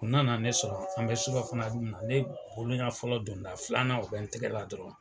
U nana na ne sɔrɔ an bɛ sura fana dunna, ne boloɲa fɔlɔ donda filanan, o bɛ n tɛgɛ la dɔrɔn